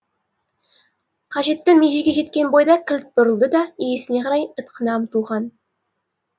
қажетті межеге жеткен бойда кілт бұрылды да иесіне қарай ытқына ұмтылған